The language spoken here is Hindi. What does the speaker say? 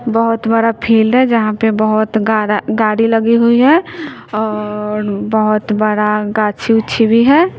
बहोत बड़ा फिल्ड है जहाँ पे बहोत गाड़ा गाड़ी लगी हुई हैं और बहुत बड़ा गाछी-उछी भी है।